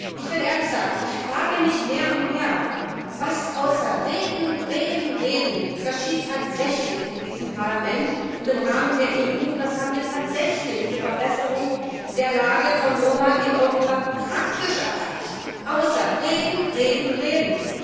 Ich will ehrlich sagen Ich frage mich mehr und mehr, was außer reden, reden, reden geschieht tatsächlich in diesem Parlament und im Rahmen der EU, und was haben wir tatsächlich zur Verbesserung der Lage von Roma in Europa praktisch erreicht, außer reden, reden, reden.